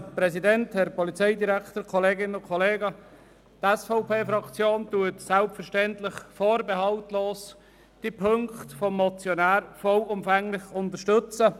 Die SVP-Fraktion unterstützt selbstverständlich vorbehaltlos und vollumfänglich alle Ziffern dieser Motion.